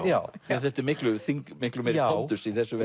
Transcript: já miklu miklu meiri pondus í þessu